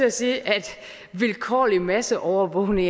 at sige at vilkårlig masseovervågning